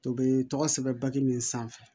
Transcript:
To bɛ tɔgɔ sɛbɛn baki min sanfɛ